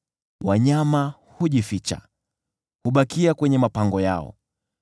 Wanyama hujificha; hubakia kwenye mapango yao.